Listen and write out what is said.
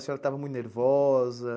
A senhora estava muito nervosa?